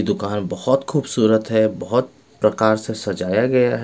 दुकान बहुत खूबसूरत है बहुत प्रकार से सजाया गया है।